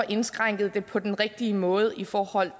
indskrænket på den rigtige måde i forhold